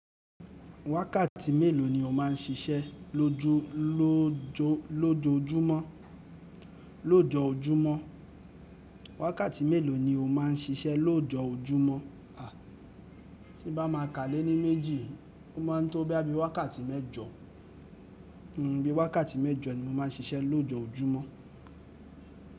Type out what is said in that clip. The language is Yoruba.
Wákàtí mélòó ni o máà ń siṣẹ́ lojo lojoojumo lójoójúmọ́? Wákàtí mélòó ni o máà ń siṣẹ́ lójoójúmọ́? A, tí n bá maa kà léni méjì, o máa ń tó boya bíi wákàtí mẹ́jọ, bíi wákàtí mẹ́jọ ni mo má ń siṣẹ́ lójoójúmọ́.